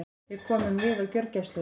Við komum við á gjörgæslunni.